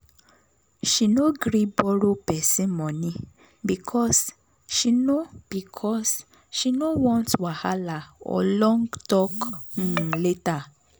she no gree borrow person money because she no because she no want wahala or long talk um later.